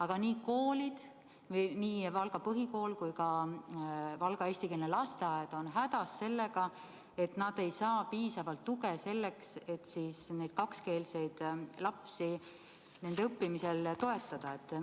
Aga nii Valga põhikool kui ka Valga eestikeelne lasteaed on hädas sellega, et nad ei saa piisavalt tuge selleks, et neid kakskeelseid lapsi õppimisel toetada.